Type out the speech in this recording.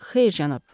Xeyr, cənab.